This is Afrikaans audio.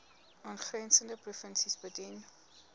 aangrensende provinsies bedien